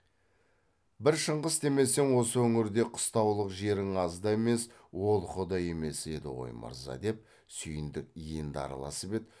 бір шыңғыс демесең осы өңірде қыстаулық жерің аз да емес олқы да емес еді ғой мырза деп сүйіндік енді араласып еді